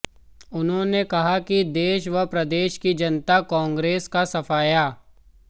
उन्होंने कहा कि देश व प्रदेश की जनता कांग्रेस का सफाया